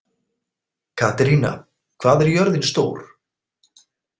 Katerína, hvað er jörðin stór?